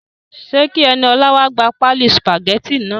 Ṣe kí Eniolá wa gbà páálí sùpàgétì náà?